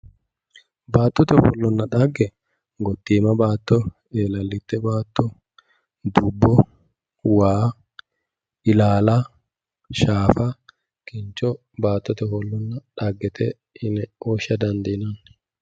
baattote ofollonna dhagge gottiima baatto eelallite baatto dubbo waa ilaala shaafa kincho baattote ofollonna dhaggete yine woshsha dandiinanni